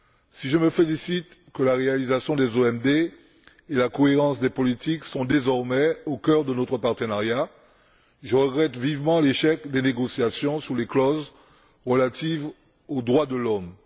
Si je me félicite que la réalisation des OMD et la cohérence des politiques figurent désormais au cœur de notre partenariat, je regrette vivement l'échec des négociations sur les clauses relatives aux droits de l'homme.